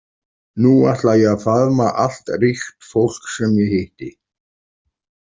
Nú ætla ég að faðma allt ríkt fólk sem ég hitti.